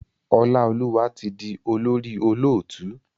Olaoluwa tí dì olórí olóòtú.